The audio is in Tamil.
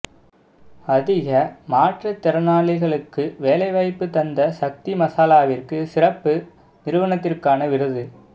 அதிக மாற்றுத்திறனாளிகளுக்கு வேலை வாய்ப்பு தந்த சக்தி மசாலாவிற்கு சிறப்பு நிறுவனத்திற்கான விருது